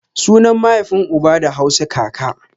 Sunan maihafin uba da Hausa kaka